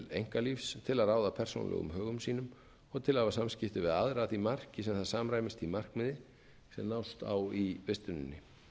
einkalífs til að ráða persónulegum högum sínum og til að hafa samskipti við aðra að því marki sem það samræmist því markmiði sem nást á í vistuninni